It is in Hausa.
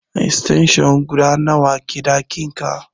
Extension guda nawa ke ɗakin ka?